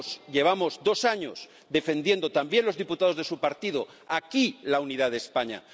Llevamos dos años defendiendo —también los diputados de su partido— aquí la unidad de España.